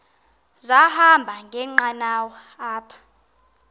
sahamba ngenqanawa apha